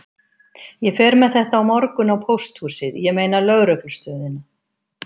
Ég fer með þetta á morgun á pósthúsið, ég meina lögreglustöðina.